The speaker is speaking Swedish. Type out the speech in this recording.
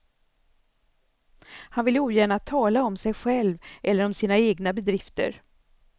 Han vill ogärna tala om sig själv eller om sina egna bedrifter.